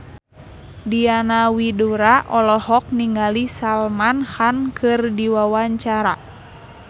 Diana Widoera olohok ningali Salman Khan keur diwawancara